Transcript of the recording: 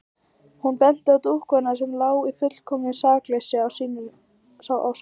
Hún benti á dúkkuna sem lá í fullkomnu sakleysi sínu á sófanum.